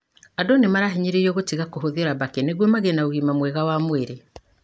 Andũ nĩ marahinyĩrĩrio gũtiga kũhuthira mbaki nĩguo magĩe na ũgima mwega wa mwĩri.